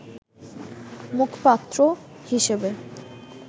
মুখপাত্র হিসেবে